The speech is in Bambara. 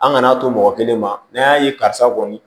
An kana to mɔgɔ kelen ma n'an y'a ye karisa kɔni